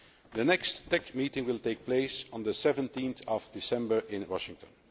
The next TEC meeting will take place on 17 December in Washington.